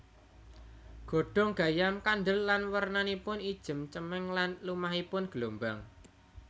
Godhong gayam kandhel lan wernanipun ijem cemeng lan lumahipun gelombang